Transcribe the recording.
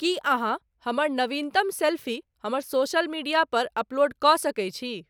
कि अहाँ हमर नवीनतम सेल्फी हमर सोशल मीडिया पर अपलोड क सकैत छी